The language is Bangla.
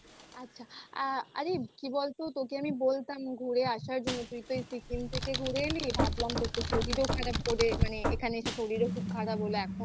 আচ্ছা আ আরে কি বলতো তোকে আমি বলতাম ঘুরে আসার জন্য তুই তো সিকিম থেকে ঘুরে এলি ভাবলাম মানে এখানে এসে তোর তো শরীর খারাপ করে